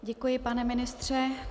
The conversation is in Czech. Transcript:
Děkuji, pane ministře.